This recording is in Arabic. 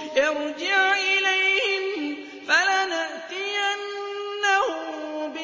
ارْجِعْ إِلَيْهِمْ فَلَنَأْتِيَنَّهُم